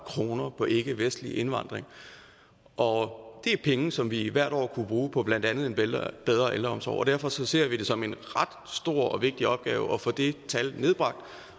kroner på ikkevestlig indvandring og det er penge som vi hvert år kunne bruge på blandt andet en bedre ældreomsorg og derfor ser vi det som en ret stor og vigtig opgave at få det tal nedbragt